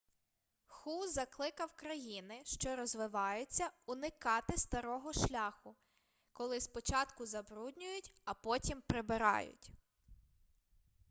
ху закликав країни що розвиваються уникати старого шляху коли спочатку забруднюють а потім прибирають